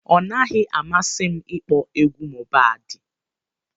Ọ naghị amasi m ịkpọ egwu Mohbad.